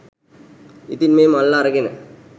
ඉතින් මේ මල්ල අරගෙන